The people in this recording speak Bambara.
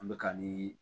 An bɛka nii